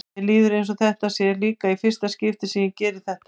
Mér líður eins og þetta sé líka í fyrsta skipti sem ég geri þetta.